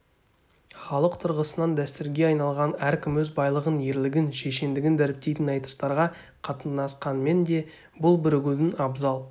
халық тұрғысынан дәстүрге айналған әркім өз байлығын ерлігін шешендігін дәріптейтін айтыстарға қатынасқанмен де бұл бірігудің абзал